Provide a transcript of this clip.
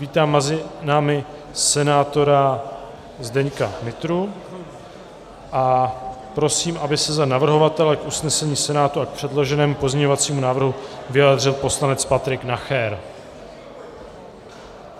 Vítám mezi námi senátora Zdeňka Nytru a prosím, aby se za navrhovatele k usnesení Senátu a k předloženému pozměňovacímu návrhu vyjádřil poslanec Patrik Nacher.